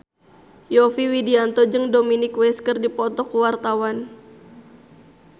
Yovie Widianto jeung Dominic West keur dipoto ku wartawan